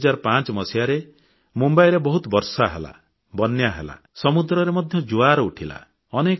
2005 ରେ ମୁମ୍ବାଇରେ ବହୁତ ବର୍ଷା ହେଲା ବନ୍ୟା ହେଲା ସମୁଦ୍ରରେ ମଧ୍ୟ ଜୁଆର ଉଠିଲା